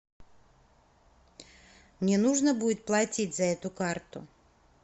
мне нужно будет платить за эту карту